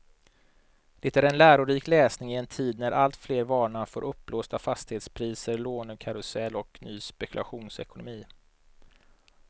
Det är en lärorik läsning i en tid när alltfler varnar för uppblåsta fastighetspriser, lånekarusell och ny spekulationsekonomi.